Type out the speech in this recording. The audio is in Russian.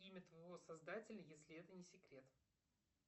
имя твоего создателя если это не секрет